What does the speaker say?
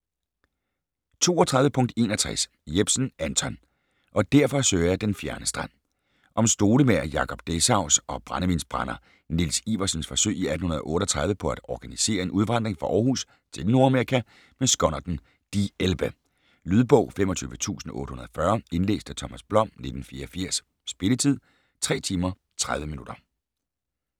32.61 Jepsen, Anton: - og derfor søger jeg den fjerne strand Om stolemager Jacob Dessaus og brændevinsbrænder Niels Iwersens forsøg i 1838 på at organisere en udvandring fra Århus til Nordamerika med skonnerten "Die Elbe". Lydbog 25840 Indlæst af Thomas Blom, 1984. Spilletid: 3 timer, 30 minutter.